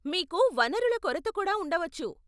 మీకు వనరుల కొరత కూడా ఉండవచ్చు.